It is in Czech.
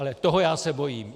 Ale toho já se bojím.